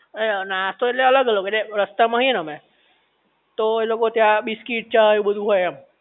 એ નાસ્તો ઍટલે અલગ અલગ ઍટલે રસ્તા માં હઈ ને અમે તો એ લોકો ત્યાં બિસ્કિટ ચ એવું બધુ હોય એમ